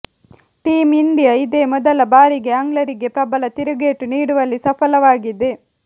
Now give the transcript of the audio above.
team India ಇದೇ ಮೊದಲ ಬಾರಿಗೆ ಆಂಗ್ಲರಿಗೆ ಪ್ರಬಲ ತಿರುಗೇಟು ನೀಡುವಲ್ಲಿ ಸಫಲವಾಗಿದೆ